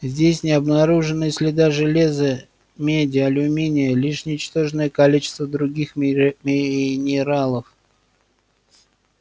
здесь не обнаружено и следа железа меди алюминия лишь ничтожное количество других минералов